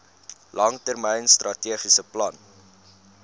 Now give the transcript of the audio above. langtermyn strategiese plan